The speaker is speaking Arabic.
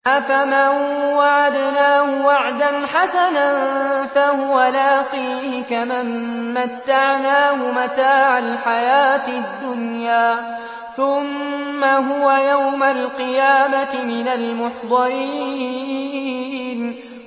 أَفَمَن وَعَدْنَاهُ وَعْدًا حَسَنًا فَهُوَ لَاقِيهِ كَمَن مَّتَّعْنَاهُ مَتَاعَ الْحَيَاةِ الدُّنْيَا ثُمَّ هُوَ يَوْمَ الْقِيَامَةِ مِنَ الْمُحْضَرِينَ